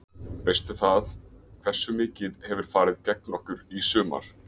Veistu það, hversu mikið hefur farið gegn okkur í sumar?